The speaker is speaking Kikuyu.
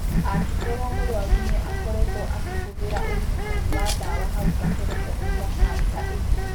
Angĩkorũo mũrũaru nĩ aakoretwo akĩhũthĩra ũrigitani wa ndawa hau kabere kũhonia kanca ĩngĩ.